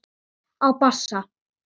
Á bassa.